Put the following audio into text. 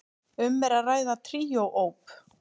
Um er að ræða tríó op.